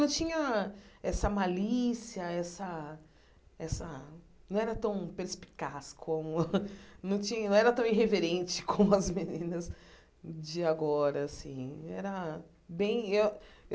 Não tinha essa malícia essa essa, não era tão perspicaz como... Não tinha não era tão irreverente como as meninas de agora assim era bem.